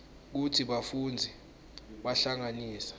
kutsi bafundzi bahlanganisa